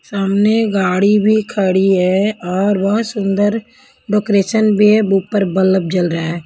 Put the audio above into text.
सामने गाड़ी भी खड़ी है और बहुत सुंदर डेकोरेशन भी है ऊपर बल्लब जल रहा है.